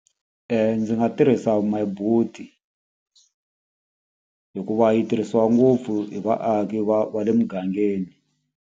Ndzi nga tirhisa My Boet-i hikuva yi tirhisiwa ngopfu hi vaaki va va le mugangeni.